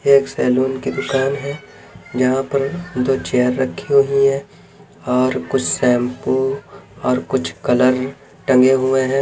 एक सेलून की दुकान है जहाँ पर दो चेयर रखी हुई है और कुछ शैंपू और कुछ कलर टंगे हुए हैं।